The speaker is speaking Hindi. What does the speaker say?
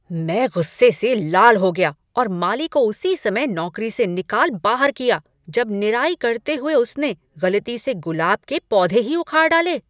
मैं गुस्से से लाल हो गया और माली को उसी समय नौकरी से निकाल बाहर किया जब निराई करते हुए उसने गलती से गुलाब के पौधे ही उखाड़ डाले।